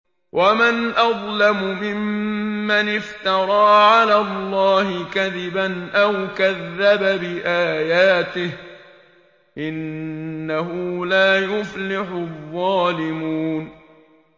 وَمَنْ أَظْلَمُ مِمَّنِ افْتَرَىٰ عَلَى اللَّهِ كَذِبًا أَوْ كَذَّبَ بِآيَاتِهِ ۗ إِنَّهُ لَا يُفْلِحُ الظَّالِمُونَ